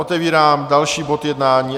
Otevírám další bod jednání